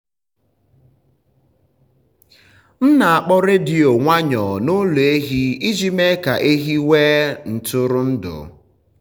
m na-akpọ redio nwayọọ n’ụlọ ehi iji mee ka ehi nwee ntụrụndụ.